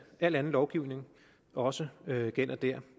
al anden lovgivning også gælder dér